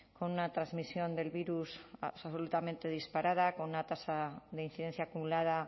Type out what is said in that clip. con una transmisión del virus absolutamente disparada con una tasa de incidencia acumulada